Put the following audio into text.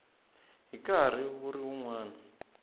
hi nkarhi wu ri wun